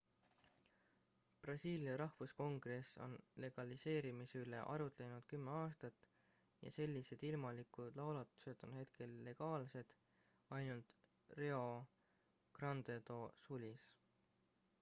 brasiilia rahvuskongress on legaliseerimise üle arutlenud 10 aastat ja sellised ilmalikud laulatused on hetkel legaalsed ainult rio grande do sulis